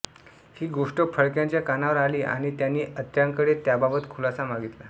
ही गोष्ट फडक्यांच्या कानावर आली आणि त्यांनी अत्र्यांकडे त्याबाबत खुलासा मागितला